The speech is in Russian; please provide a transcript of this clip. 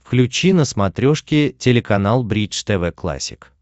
включи на смотрешке телеканал бридж тв классик